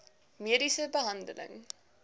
mediese behandeling